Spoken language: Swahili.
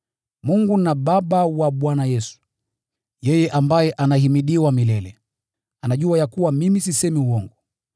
Mungu na Baba wa Bwana Yesu, yeye ambaye anahimidiwa milele, anajua ya kuwa mimi sisemi uongo.